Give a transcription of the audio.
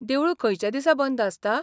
देवूळ खंयच्या दिसा बंद आसता?